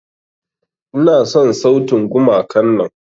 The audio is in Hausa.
Ina son sautin gumakan nan.